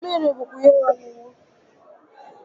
Mmiri bụkwa ihe ọṅụṅụ